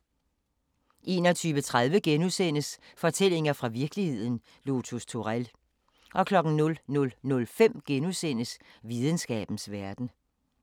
21:30: Fortællinger fra virkeligheden – Lotus Turell * 00:05: Videnskabens Verden *